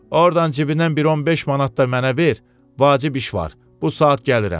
Ordan cibindən bir 15 manat da mənə ver, vacib iş var, bu saat gəlirəm.